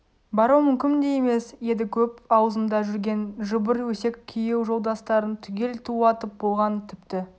бару мүмкін де емес еді көп аузында жүрген жыбыр өсек күйеу жолдастарын түгел тулатып болған тіпті